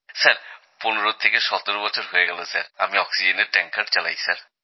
sir ১৫ থেকে ১৭ বছর হয়ে গেল স্যার আমি অক্সিজেনের ট্যাঙ্কার চালাই স্যার